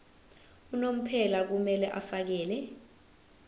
unomphela kumele afakele